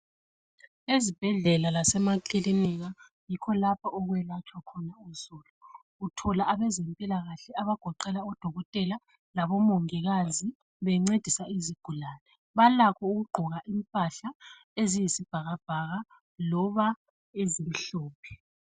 Ezibhedlela lasemakilinika yikho lapho okwelatshwa khona uzulu. Uthola abezempilakahle abagoqela odokotela labo mongikazi bencedisa izigulane. Balakho ukugqoka impahla eziyisibhakabhaka loba ezimhlophe.